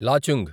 Lachung